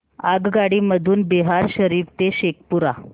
आगगाडी मधून बिहार शरीफ ते शेखपुरा